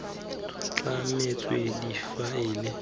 tlametswe difaele tse ke tsa